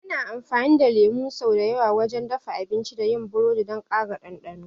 Ana amfani da lemu sau da yawa wajen dafa abinci da yin burodi don ƙara ɗanɗano.